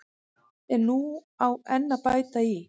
En nú á enn að bæta í.